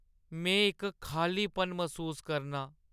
में इक खाल्लीपन मसूस करनां ।